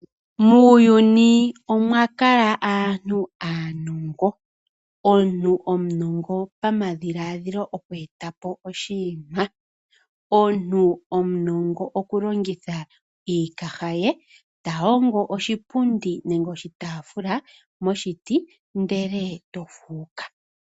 Muuyuni omwa kala aantu aanongo . Omuntu omaunongo pamadhiladhilo okweetapo oshinima. Omuntu omunongo okulongitha iikaha ye yahongo oshipundi moshitaafula nenge moshipundi , ndele eto fuuka.